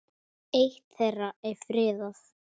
Eitt þeirra er friðað.